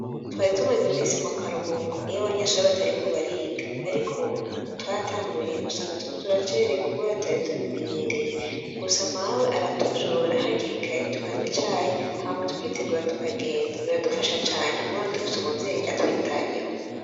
Twari tumeze imisi mu karuhuko iyo abanyeshabri batari kubariga, ariko ubo twaratanguye usanga atoko turacererwa kuba ratari tubimenyereye kugusa mawe aratuvyura hakirikaye tukanya icahe hamwa tukitegura tukagenda biradufasha cane kuba anadufise umuvyeyi atwitayeho.